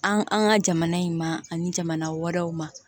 An an ka jamana in ma ani jamana wɛrɛw ma